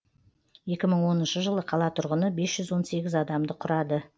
екі мың оныншы жылы қала тұрғыны бес жүз он сегіз адамды құрады